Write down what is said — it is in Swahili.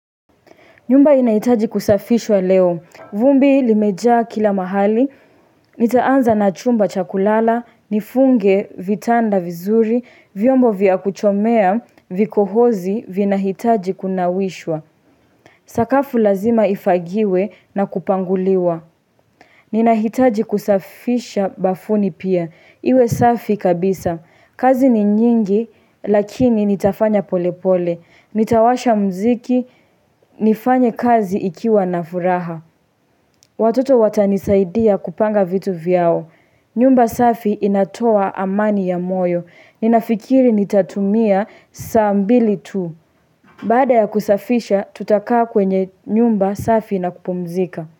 Nyumba inahitaji kusafishwa leo. Vumbi limejaa kila mahali, nitaanza na chumba cha kulala, nifunge vitanda vizuri, vyombo vya kuchomea, vikohozi vina hitaji kunawishwa. Sakafu lazima ifagiwe na kupanguliwa. Nina hitaji kusafisha bafuni pia. Iwe safi kabisa. Kazi ni nyingi lakini nitafanya pole pole. Nitawasha mziki nifanye kazi ikiwa na furaha. Watoto watanisaidia kupanga vitu vyao. Nyumba safi inatoa amani ya moyo. Ninafikiri nitatumia saa mbili tu. Baada ya kusafisha tutakaa kwenye nyumba safi na kupumzika.